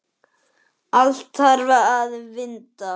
Allt þarf að vinda.